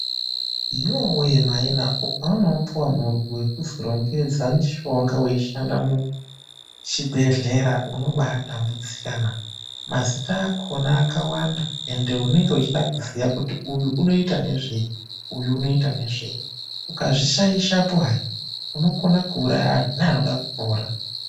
Yowe maiina! Ukaona wapiwa murwi wekuti rongedze mitombo muchibhehlera unobatambudzika naa. Mazina akhona akawanda apa unenge weifanirwa kuziya kuti uyu unoita ngezvei uyu unoita ngezvei ,ukazvi shayishapo hayi unouraya anhu neanode kupona.